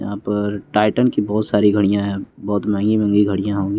यहाँ पर टाइटन की बहोत सारी घड़ियां है बहोत महंगी महंगी घड़ियाँ हों--